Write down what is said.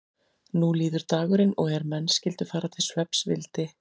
Nú líður dagurinn og er menn skyldu fara til svefns vildi